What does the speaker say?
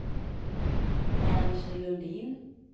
Ernst Lundin